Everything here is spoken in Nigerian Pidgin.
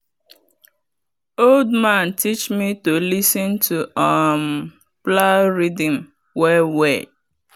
old man teach me to lis ten to um plow rhythm well well.